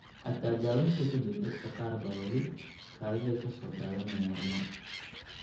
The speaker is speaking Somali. Xataa daawaynta ka dib, dadka qaar baa weli kaadida ka soo daadanaya mar mar.